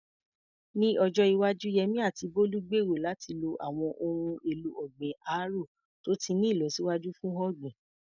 Ní ọjọ́ iwájú, Yemí àti Bólú gbèrò láti lo àwọn ohun èlò ọ̀gbìn árò tó ti ní ìlọsíwájú fún ọ̀gbìn.